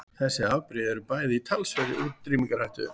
Þessi afbrigði eru bæði í talsverðri útrýmingarhættu.